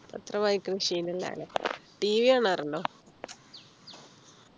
പത്രം വായിക്കുന്ന ശീലം ഇല്ല ല്ലേ tv കാണാറുണ്ടോ